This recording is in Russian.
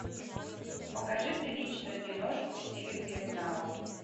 покажи приличную киношку в стиле криминала